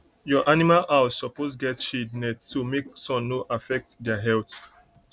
your animal house suppose get shade net so make sun no affect dia health